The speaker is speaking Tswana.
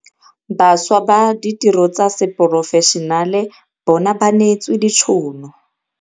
Bašwa ba ditiro tsa seporofešenale bona ba neetswe ditšhono